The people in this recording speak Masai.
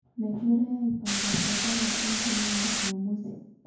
Megirae aipanga pedala enkolong e jumamosi